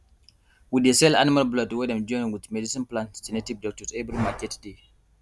we dey sell animal blood wey dem join wit medicine plant to native doctors every market day